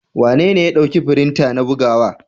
Wanene ya ɗauki firinta na bugawa.